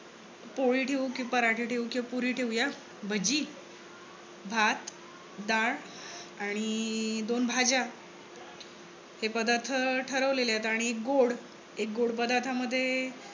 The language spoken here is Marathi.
पोळी ठेवू कि पराठे ठेवू कि पुरी ठेवूया. भजी, भात, डाळ आणि दोन भाज्या हे पदार्थ ठरवलेले आहेत. आणि गोड एक गोड पदार्थामध्ये